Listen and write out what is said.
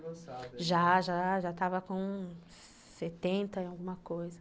Já, já, já estava com sessenta e alguma coisa.